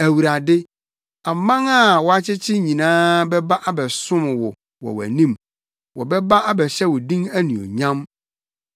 Awurade, aman a woakyekyere nyinaa bɛba abɛsom wo wɔ wʼanim; wɔbɛba abɛhyɛ wo din anuonyam.